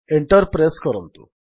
enter press କରନ୍ତୁ